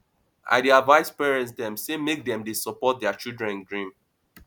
i dey advice parents dem sey make dem dey support their children dream